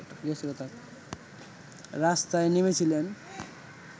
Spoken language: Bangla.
রাস্তায় নেমেছিলেন